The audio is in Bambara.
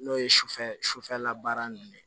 N'o ye sufɛ sufɛlabaara ninnu ye